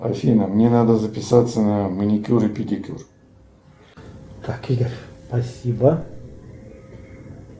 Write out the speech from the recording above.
афина мне надо записаться на маникюр и педикюр